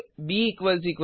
ब 0